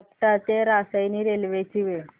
आपटा ते रसायनी रेल्वे ची वेळ